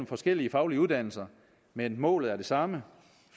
forskellige faglige uddannelser men målet er det samme